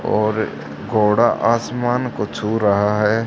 और घोड़ा आसमान को छू रहा है।